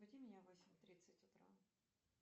разбуди меня в восемь тридцать утра